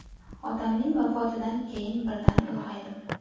Otamning vafotidan keyin birdan ulg‘aydim.